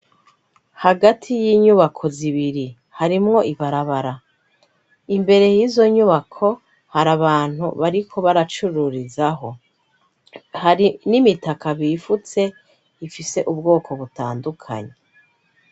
Hagati y'inyubako zibiri harimwo ibarabara imbere y'izo nyubako hari abantu bariko baracururizaho, hari n'imitaka bifutse ifise ubwoko butandukanyi.